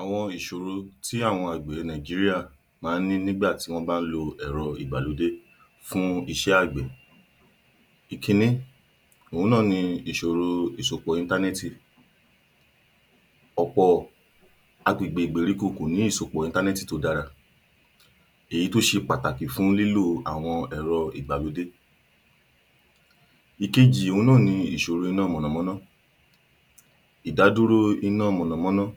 Àwọn ìṣòro tí àgbẹ̀ Nàìjíríà máa ń ní nígbà tí wọ́n bá ń lo ẹ̀rọ ìgbàlódé fún iṣẹ́ àgbẹ̀. Ìkínní, òhun náà ni ìṣòro ìsopọ̀ íntánẹ́ẹ̀tì. Ọ̀pọ̀ agbègbè ìgbèríko kò ní ìsopọ̀ íntánẹ́ẹ̀tì tó dára èyí tó ṣe pàtàkì fún lílò àwọn ẹ̀rọ ìgbàlódé. Ìkejì òhun náà ni ìṣòro iná mọ̀nọ̀mọ́nọ́. Ìdádúró iná mọ̀nọ̀mọ́nọ́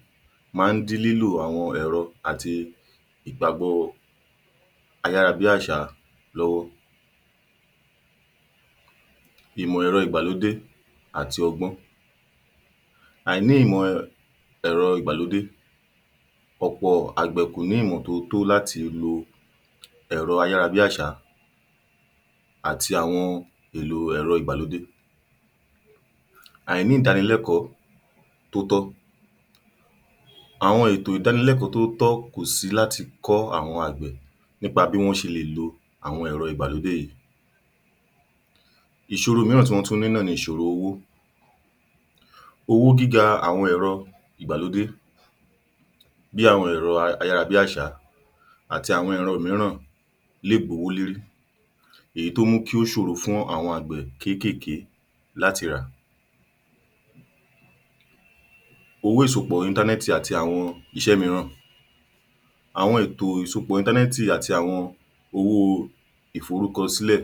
máa ń dí lílò àwọn ẹ̀rọ àti ìgbàgbọ́ ayára-bí-àṣá lọ́wọ́. Ìmọ̀ ẹ̀rọ ìgbàlódé àti ọgbọ́n. Àìní ìmọ̀ ẹ̀rọ ìgbàlódé. Ọ̀pọ̀ àgbẹ̀ kò ní ìmọ̀ tó tó láti lo ẹ̀rọ ayára-bí-àṣá àti àwọn èlò ẹ̀rọ ìgbàlódé. Àìní ìdánilẹ́kọ̀ọ́ tó tọ́. Àwọn ètò ìdánilẹ́kọ̀ọ́ tó tọ́ kò sí láti kọ́ àwọn àgbẹ̀ nípa bí wọ́n ṣe lè lo àwọn ẹ̀rọ ìgbàlódé yìí. Ìṣòro mìíràn tí wọ́n tún ní ni ìṣòro owó. Owó gíga àwọn ẹ̀rọ ìgbàlódé bí àwọn ẹ̀rọ ayára-bí-àṣá àti àwọn ẹ̀rọ mìíràn lè gbówó lérí, èyí tó mú kó ṣòro fún àwọn àgbẹ̀ kéékèèké láti rà. Owó ìsopọ̀ íntánẹ́ẹ̀tì àti àwọn iṣẹ́ mìíràn. Àwọn ètò ìsopẹ̀ íntánẹ́ẹ̀tì àti àwọn owó ìforúkọsílẹ̀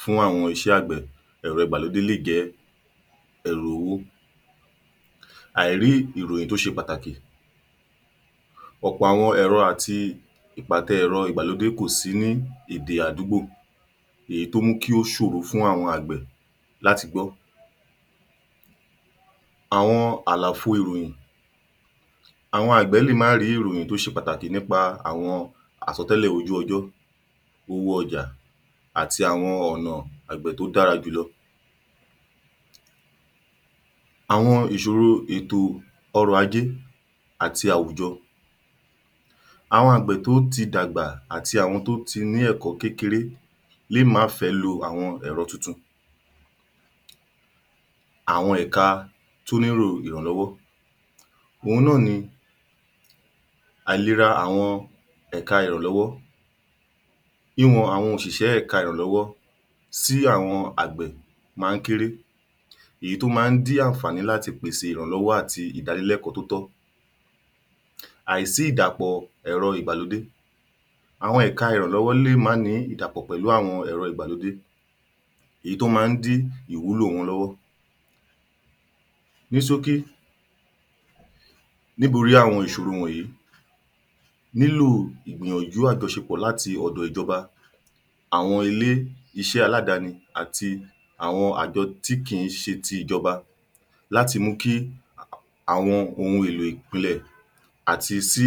fún àwọn iṣẹ́ àgbẹ̀ ẹ̀rọ ìgbàlódé lè jẹ́ pẹ̀lú owó. Àìrí ìròyìn tó ṣe pàtàkì. Ọ̀pọ̀ àwọn ẹ̀rọ àti ìpàtẹ ẹ̀rọ ìgbàlódé kò sí ní èdè àdúgbò èyí tó mú kó ṣòro fún awọn àgbẹ̀ láti gbọ́. Àwọn àlàfo ìròyìn. Àwọn àgbẹ̀ lè má rí ìròyìn tó ṣe pàtàkì nípa àwọn àsọtẹ́lẹ̀ ojú ọjọ́, owó ọjà àti àwọn ọ̀nà àgbẹ̀ tó dára jùlọ. Àwọn ìṣọ̀ro ètò ọrọ̀ ajé àti àwùjọ. Àwọn àgbẹ̀ tó ti dàgbà àti àwọn tó ti ní ẹ̀kọ́ kékeré lè má fẹ́ lo àwọn ẹ̀rọ tuntun. Àwọn ẹ̀ka tó nílò ìrànlọ́wọ́, òhun náà ni àìlera àwọn ẹ̀ka ìrànlọ́wọ́. Wíwọ àwọn òṣìṣẹ́ ẹ̀ka ìrànlọ́wọ́ sí àwọn àgbẹ̀ máa ń kééré, èyí tó máa ń dí ànààní láti pèsè ìrànlọ́wọ́ àti ìdánilẹ́kọ̀ọ́ tó tọ́. Àìsí ìdàpọ̀ ẹ̀rọ ìgbàlódé. Àwọn ẹ̀ka ìrànlọ́wọ́ lè má ní ìdàpọ̀ pẹ̀lú àwọn ẹ̀rọ ìgbàlódé èyí tó máa ń dí ìwúlò wọn lọ́wọ́. Ní ṣókí, nítorí àwọn ìṣòro wọ̀nyìí nílò ìgbìyànjú àjọṣepọ̀ láti ọ̀dọ̀ ìjọba, àwọn ilé iṣẹ́ aládàáni àtí àwọn àjọ tí kìí ṣe ti ìjọba láti mú kí àwọn ohun èlò ìpìlẹ̀ àti sí,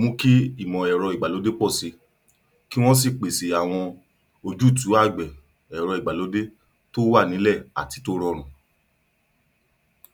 mú kí ìmọ̀ ẹ̀rọ ìgbàlódé pọ̀ síi, lí wọ́n sì pèsè àwọn ojútùú àgbẹ̀ ẹ̀rọ ìgbàlódé tó wà nílẹ̀ àti tó rọtùn.